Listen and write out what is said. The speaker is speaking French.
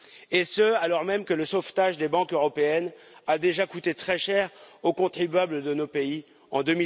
Et ce, alors même que le sauvetage des banques européennes a déjà coûté très cher aux contribuables de nos pays en